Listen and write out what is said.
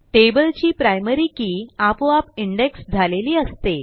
टेबलची primary key आपोआपindex झालेली असते